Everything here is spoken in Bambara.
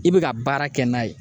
I bɛ ka baara kɛ n'a ye.